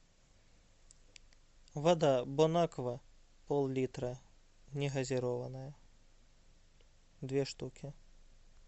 вода бон аква пол литра негазированная две штуки